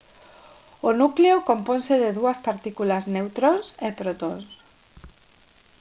o núcleo componse de dúas partículas neutróns e protóns